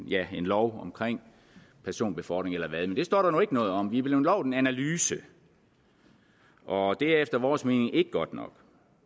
ja en lov om personbefordring eller hvad det det står der nu ikke noget om vi er blevet lovet en analyse og det er efter vores mening ikke godt nok